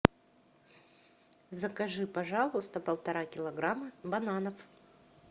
закажи пожалуйста полтора килограмма бананов